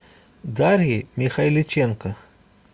дарьей михайличенко